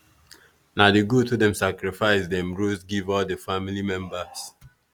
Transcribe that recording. na the goat wey dem sacrifice dem roast give all the family members